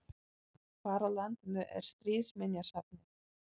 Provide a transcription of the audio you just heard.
Hvar á landinu er Stríðsminjasafnið?